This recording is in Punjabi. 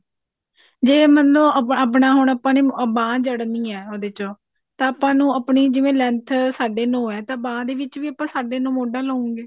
ਜੇ ਮੰਨੋ ਆਪਣਾ ਹੁਣ ਆਪਾਂ ਨੇ ਬਾਂਹ ਜ੍ਡਨੀ ਹੈ ਉਹਦੇ ਚੋਂ ਤਾਂ ਆਪਾਂ ਨੂੰ ਆਪਣੀ ਜਿਵੇਂ length ਸਾਢੇ ਨੋ ਆ ਤਾਂ ਬਾਂਹ ਦੇ ਵਿੱਚ ਵੀ ਆਪਾਂ ਸਾਢੇ ਨੋ ਮੋਢਾ ਲਵਾਂਗੇ